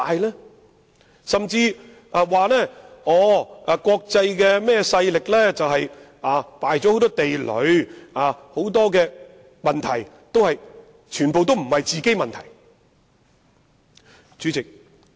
有人甚至說，國際勢力已埋下很多地雷，故此很多問題都不是自己製造的。